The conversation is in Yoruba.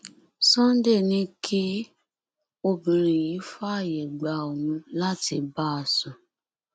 sunday ní kí obìnrin yìí fààyè gba òun láti bá a sùn